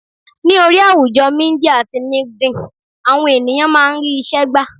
Ní orí àwùjọ Mídíà ti LinkedIn, àwọn ènìyàn máa ń rí isẹ gbà.